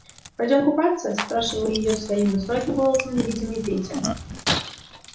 пойдём купаться спрашивал её своим высоким голосом невидимый петя